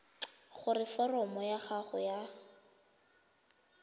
gore foromo ya gago ya